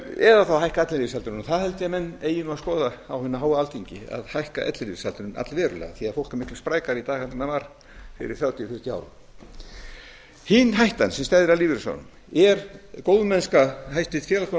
eða þá hækka ellilífeyrisaldurinn og það held ég að menn eigi að skoða á hinu háa alþingi að hækka ellilífeyrisaldurinn allverulega því fólk er miklu sprækara í dag heldur en það var fyrir þrjátíu til fjörutíu árum hin hættan sem steðjar að lífeyrissjóðunum er góðmennska hæstvirts